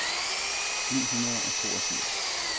ni hundrede og toogfirs